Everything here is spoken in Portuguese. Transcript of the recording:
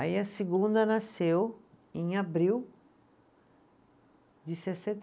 Aí a segunda nasceu em abril de sessenta